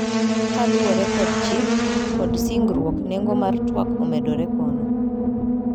Kaluwore kod chik ,kod singruok nengo mar twak omedore kono.